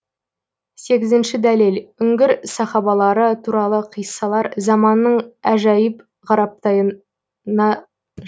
сегізінші дәлел үңгір сахабалары туралы қиссалар заманның әжаиб ғараптайына